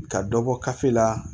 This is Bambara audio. Ka dɔ bɔ kafi la